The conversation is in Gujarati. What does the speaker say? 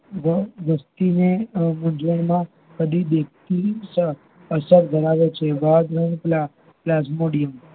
વ વસ્તી ને મૂંઝવણ માં અસર ધરાવે છે plasmodiyam